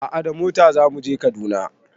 A'a da mota zamu je Kaduna